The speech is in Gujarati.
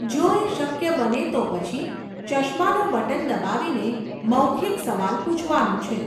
જો એ શક્ય બને તો પછી, ચશ્માનું બટન દબાવીને, મૌખિક સવાલ પૂછવાનો છે.